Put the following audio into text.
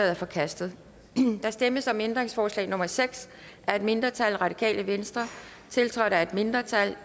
er forkastet der stemmes om ændringsforslag nummer seks af et mindretal tiltrådt af et mindretal